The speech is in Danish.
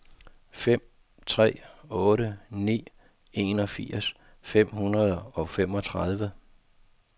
fem tre otte ni enogfirs fem hundrede og femogtredive